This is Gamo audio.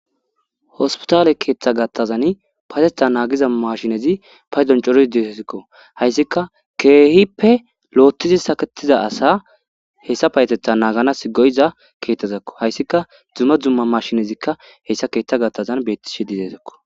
Hospitale keeththa gattazan payetetha naagiza mashinezi paydoncoro dizesikko. Hayssika keehippe loottizi saketiza asa hessa payetetha naaganasi go'iza keethtezakko hayssika dumma dumma mashinezikka hessa keeththa gattazan beettishe didesakko.